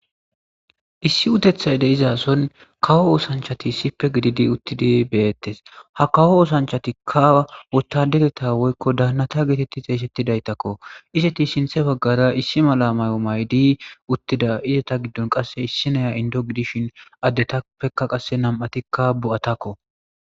Issi utethay de izason kawo oosanchati ssippe gididi uttidi beyettes ha kawo oosanchatikka wotadereta woykko daannata geetetti xeeysettidaytakko iseti sinthe baggara issi mala may'o maydi uttida izeta giddon qasse issi naya indo gidishin addetapeka qasse nam'atikka bo'atakko.